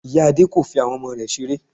Ìya Adé kò fi àwọn ọmọ rẹ̀ seré